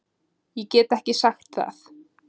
Ég get ekki sagt það